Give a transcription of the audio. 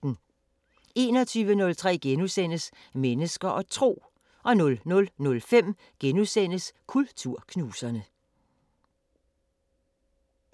21:03: Mennesker og Tro * 00:05: Kulturknuserne *